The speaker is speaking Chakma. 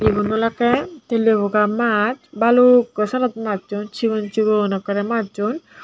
igun olakkey telley boga maas balukko syenot majjon sigon sigon ekkorey majsun.